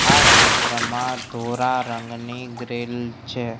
આ ચિત્રમાં ધોળા રંગની ગ્રીલ છે.